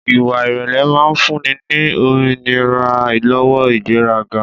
Ìwà ìrèlè máa ń fúnni ní òmìnira lọ́wọ́ ìgbéraga